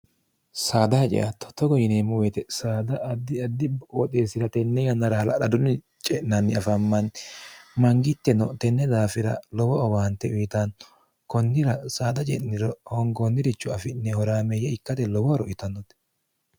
saada haceattottogo yineemmo woyite saada addi addi ooxeessira tenne yannara hala'ladunni ce'nanni afammanni mangitteno tenne daafira lowo owaante uyitaanno kunnira saada je'niro hoongoonnirichu afi'ne horaameeyye ikkate lowohoroyitannote